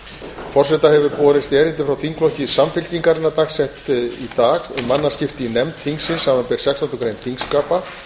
forseta hefur borist erindi frá þingflokki samfylkingarinnar dagsett í dag um mannaskipti í nefnd þingsins samanber sextándu grein þingskapa